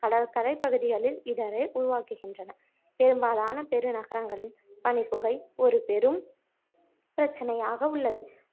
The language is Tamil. கடற்கரை பகுதிகளில் இடரை உருவாக்குகின்றன பெரும்பாலான பெரு நகரங்களில் பனிப்புகை ஒரு பெரும் பிரச்சனையாக உள்ளது